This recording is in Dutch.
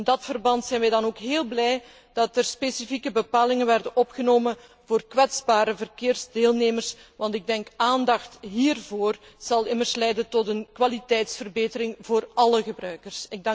In dat verband zijn we dan ook heel blij dat er specifieke bepalingen zijn opgenomen voor kwetsbare verkeersdeelnemers, want aandacht hiervoor zal immers leiden tot een kwaliteitsverbetering voor alle gebruikers.